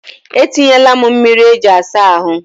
E tinyela m mmiri iji asa ahụ.